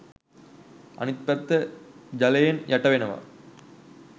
අනිත් පැත්ත ජලයෙන් යටවෙනවා